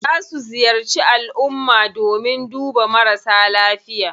Za su ziyarci alumma domin duba marasa lafiya.